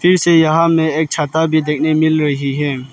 फिर से यहां में एक छाता भी देखने मिल रही है।